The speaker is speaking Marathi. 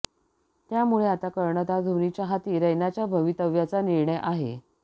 त्यामुळे आता कर्णधार धोनीच्या हाती रैनाच्या भवितव्याचा निर्णय आहे